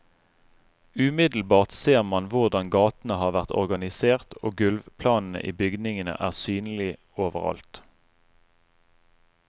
Umiddelbart ser man hvordan gatene har vært organisert, og gulvplanene i bygningene er synlig overalt.